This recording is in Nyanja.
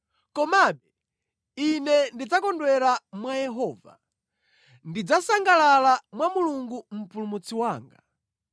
komabe ine ndidzakondwera mwa Yehova, ndidzasangalala mwa Mulungu Mpulumutsi wanga.